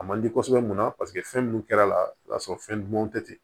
A man di kosɛbɛ munna paseke fɛn minnu kɛr'a la o b'a sɔrɔ fɛn dumanw tɛ ten